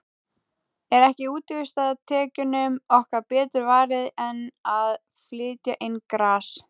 Er ekki útsvarstekjunum okkar betur varið en að flytja inn gras?